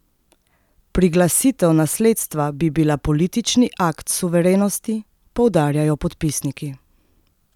Priglasitev nasledstva bi bila politični akt suverenosti, poudarjajo podpisniki.